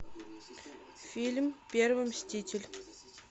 фильм первый мститель